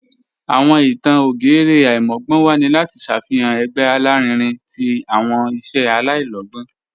Awọn ìtàn ògérè aimọgbọnwa ni lati ṣáfihan ẹ̀gbẹ̀ alárìínrìn tí awọn iṣẹ̀ aláìlọ̀gbọn."